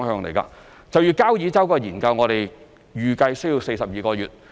就交椅洲人工島的研究，我們預計需要42個月。